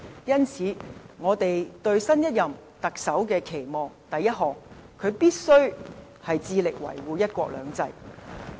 因此，我們對新一任特首的期望是：第一，他必須致力維護"一國兩制"。